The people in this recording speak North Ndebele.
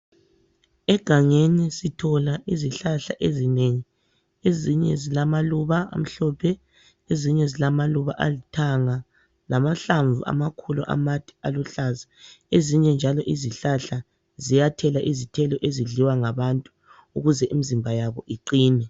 Egangeni sithola izihlahla ezinengi ezinye zilamaluba amhlophe, ezinye zilamaluba alithanga, lamahlamvu amakhulu amade aluhlaza, ezinye njalo izihlahla ziyathela izithelo ezidliwa ngabantu ukuze imizimba yabo iqine.